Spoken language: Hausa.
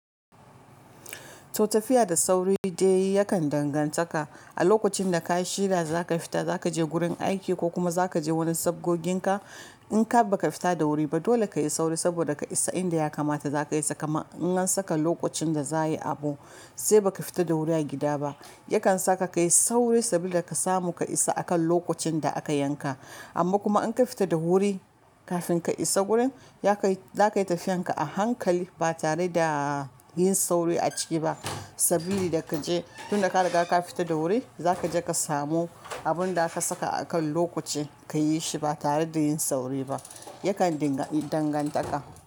To tafiya da sauri dai yakan danganta ka. A lokacin da ka shirya za ka fita, za ka je gurin aiki ko kuma za ka je gurin sabgogin ka. In ka ba ka fita da wuri ba, dole ka yi sauri saboda ka isa inda ya kamata za ka isa. Kaman in an saka lokacin da za a yi abu sai ba ka fita da wuri a gida ba, yakan sa ka ka yi sauri sabila ka samu ka isa akan lokacin da aka yanka. Amma kuma in ka fita da wuri kafin ka isa gurin, yakai za ka yi tafiyan ka a hankali ba tare da yin sauri a ciki ba. Sabili da ka je tun da ka riga ka fita da wuri, za ka je ka samu abun da aka saka a kan lokaci ka yi shi ba tare da yin sauri ba. Yakan dinga danganta ka.